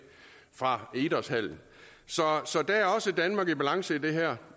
fra idrætshallen så der er også danmark i balance i det her